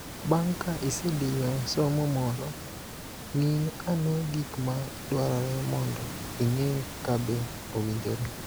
Bang' ka isediyo somo moro, ng'i ane gik ma dwarore mondo ing'e ka be owinjore.